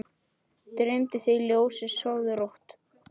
Dreymi þig ljósið, sofðu rótt!